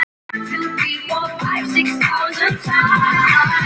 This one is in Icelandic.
Hvaða strákar eru það?